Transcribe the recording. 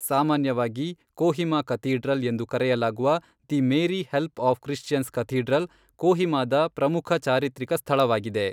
ಸಾಮಾನ್ಯವಾಗಿ ಕೋಹಿಮಾ ಕಥೀಡ್ರಲ್ ಎಂದು ಕರೆಯಲಾಗುವ the Mary Help of Christians cathedral, ಕೋಹಿಮಾದ ಪ್ರಮುಖ ಚಾರಿತ್ರಿಕ ಸ್ಥಳವಾಗಿದೆ.